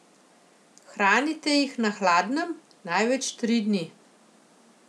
Hranite jih na hladnem, največ tri dni.